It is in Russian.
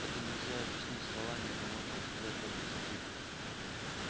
это нельзя объяснить словами это можно рассказать только скрипкой